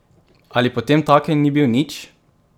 Ali potemtakem ni bil nič?